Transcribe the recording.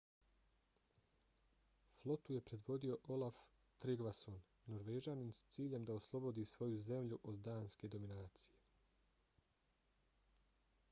flotu je predvodio olaf trygvasson norvežanin s ciljem da oslobodi svoju zemlju od danske dominacije